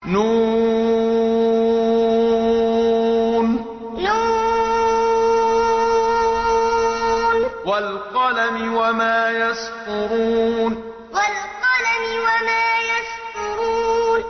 ن ۚ وَالْقَلَمِ وَمَا يَسْطُرُونَ ن ۚ وَالْقَلَمِ وَمَا يَسْطُرُونَ